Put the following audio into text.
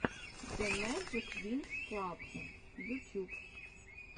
зэмэджиквинксклаб ютюб